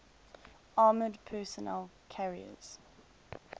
armored personnel carriers